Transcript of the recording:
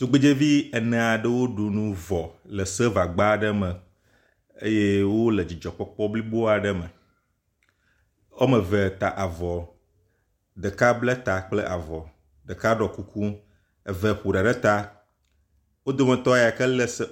Tugbedzɛvi ene aɖewo ɖu nu vɔ le silva gba aɖe me eye wo le dzidzɔkpɔkp blibo aɖe me. Wɔme eve ta avɔ. Ɖeka ble ta kple avɔ, ɖeka ɖɔ kuku eve ƒo ɖa ɖe ta. Wo dometɔ yi ke le silva…